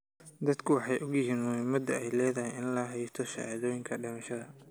Dadku way ogyihiin muhiimadda ay leedahay in la haysto shahaadooyinka dhimashada.